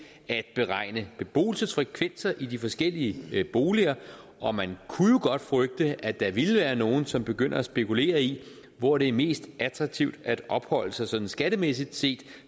at beregne beboelsesfrekvenser i de forskellige boliger og man kunne jo godt frygte at der ville være nogle som begyndte at spekulere i hvor det er mest attraktivt at opholde sig sådan skattemæssigt set